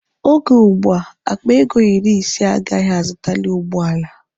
Oge ugbua, akpa ego iri ise agaghị azụtali ụgbọala.